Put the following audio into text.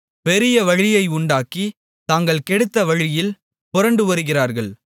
பெரிய வழியை உண்டாக்கி தாங்கள் கெடுத்த வழியில் புரண்டு வருகிறார்கள்